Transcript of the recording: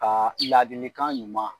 Ka laadikan ɲuman